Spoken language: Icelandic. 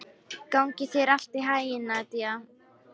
Gangi þér allt í haginn, Nadia.